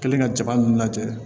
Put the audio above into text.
Kɛlen ka jaba ninnu lajɛ